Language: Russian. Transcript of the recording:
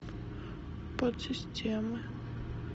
подсистемы